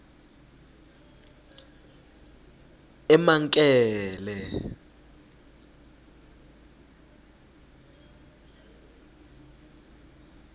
emankele